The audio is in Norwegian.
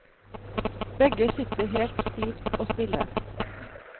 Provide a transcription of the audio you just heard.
Begge sitter helt stivt og stille.